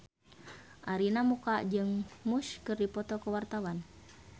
Arina Mocca jeung Muse keur dipoto ku wartawan